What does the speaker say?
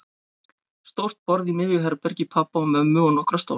Stórt borð í miðju herbergi pabba og mömmu og nokkra stóla.